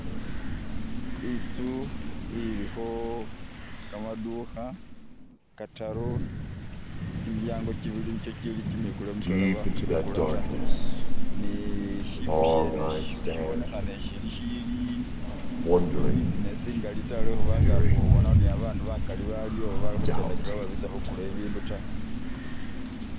Itsu ilikho kamaduka kataru, kyimilyango kyibili nikyo kyili kyimikule mutwela ba khukwikula ta, ne shifo shene ishi shibonekhana ishili shilikho business ingali ta lwe khubanga ubonakho ni ba bandu bakali baliwo oba bali khukyendakilawo bari bitsa khukula bi bindu ta.